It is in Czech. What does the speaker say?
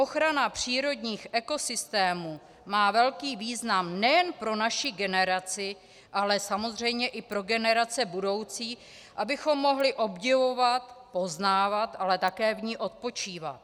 Ochrana přírodních ekosystémů má velký význam nejen pro naši generaci, ale samozřejmě i pro generace budoucí, abychom mohli obdivovat, poznávat, ale také v ní odpočívat.